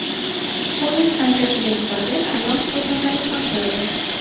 Poyezd stansiyaga yetib borgach, ayol shifokorlarga topshirildi.